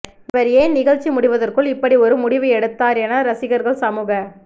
இவர் ஏன் நிகழ்ச்சி முடிவதற்குள் இப்படி ஒரு முடிவு எடுத்தார் என ரசிகர்கள் சமூக